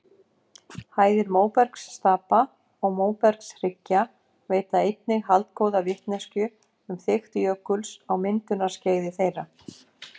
Hæðir móbergsstapa og móbergshryggja veita einnig haldgóða vitneskju um þykkt jökuls á myndunarskeiði þeirra.